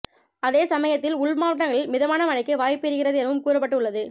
அதே சமயத்தில் உள்மாவட்டங்களில் மிதமான மழைக்கு வாய்ப்பு இருக்கிறது எனவும் கூறப்பட்டு உள்ளது